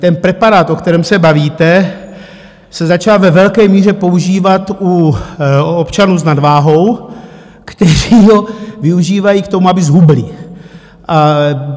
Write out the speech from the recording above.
Ten preparát, o kterém se bavíte, se začal ve velké míře používat u občanů s nadváhou, kteří ho využívají k tomu, aby zhubli.